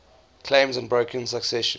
claims unbroken succession